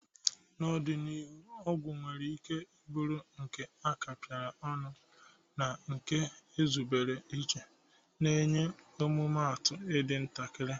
N'ọdịnihu, ọgwụ nwere ike bụrụ nke a kapịrị ọnụ na nke ezubere iche, na-enwe mmetụta dị ntakịrị.